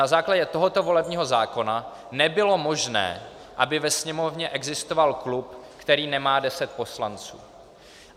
Na základě tohoto volebního zákona nebylo možné, aby ve Sněmovně existoval klub, který nemá deset poslanců.